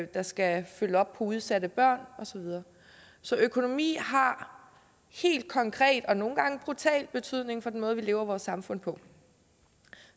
der skal følge op på udsatte børn og så videre så økonomi har helt konkret og nogle gange brutal betydning for den måde vi lever i vores samfund på